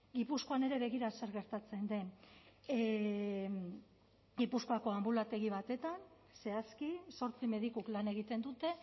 gipuzkoan ere begira zer gertatzen den gipuzkoako anbulategi batetan zehazki zortzi medikuk lan egiten dute